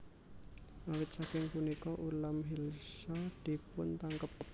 Awit saking punika ulam Hilsa dipuntangkep